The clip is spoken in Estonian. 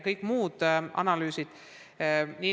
Püütakse arvestada kõiki analüüse.